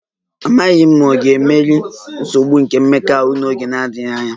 Amaghị m ma ọ ga-emeri nsogbu nke mmekọahụ n'oge na-adịghị anya